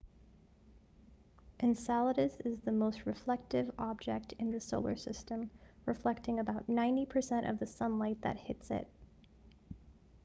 enceladus is the most reflective object in the solar system reflecting about 90% of the sunlight that hits it